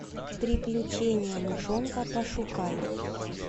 приключения мышонка пошукай